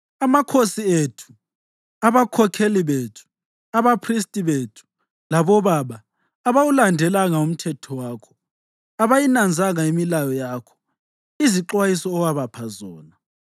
Amakhosi ethu, abakhokheli bethu, abaphristi bethu labobaba abawulandelanga umthetho wakho; abayinanzanga imilayo yakho izixwayiso owabapha zona.